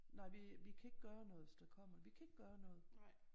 Nej vi kan ikke gøre noget hvis der kommer vi kan ikke gøre noget